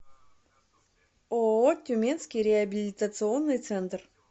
ооо тюменский реабилитационный центр